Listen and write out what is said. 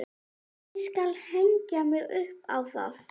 Ég skal hengja mig upp á það!